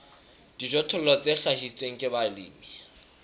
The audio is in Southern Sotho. dijothollo tse hlahiswang ke balemi